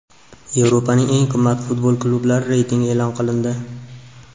Yevropaning eng qimmat futbol klublari reytingi e’lon qilindi.